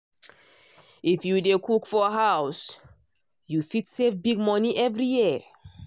if you dey cook for house you fit save big money every year.